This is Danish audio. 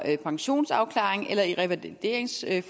pensionsafklaring eller i revalideringsforløb